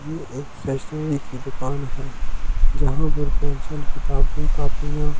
ये एक स्टेशनरी दुकान है जहाँ किताब भी कॉपियाँ।